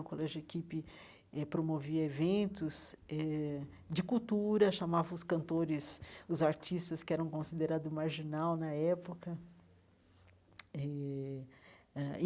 O Colégio Equipe eh promovia eventos eh de cultura, chamava os cantores, os artistas que eram considerado marginal na época eh ãh.